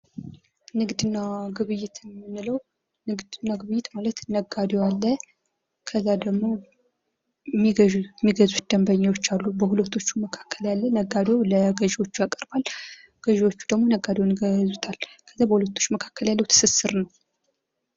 ንግድና ግብይት የምንለው ንግድና ግብይት ማለት ነጋዴው አለ ከዛ ደግሞ የሚገዙት ደንበኞች አሉ በሁለቱ መካከል የሚደረግ ነጋዴው ለገዥዎች ያቀርባል ። ገዝዎቹ ደግሞ ነጋዴውን ይገዙታል ። ከዛ በሁለቱ መካከል ያለው ትስስር ነው